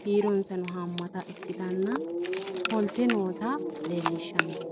kiironsanno haammata ikkititanna ofolte noota leellishshanno.